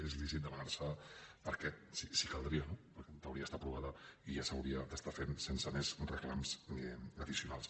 és lícit demanar se per què si caldria no perquè en teoria està aprovada i ja s’hauria d’estar fent sense més reclams addicionals